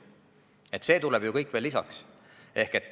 See kõik tuleb ju veel lisaks.